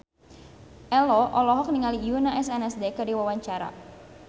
Ello olohok ningali Yoona SNSD keur diwawancara